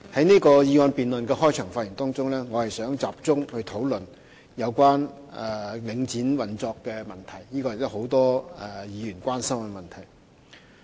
在此議案辯論的開場發言中，我想集中討論有關領展房地產投資信託基金運作的問題。